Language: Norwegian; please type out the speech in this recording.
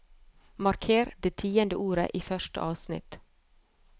Marker det tiende ordet i første avsnitt